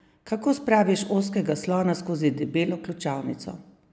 Kako spraviš ozkega slona skozi debelo ključavnico?